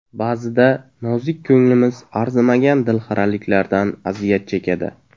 Ba’zida nozik ko‘nglimiz arzimagan dilxiraliklardan aziyat chekadi.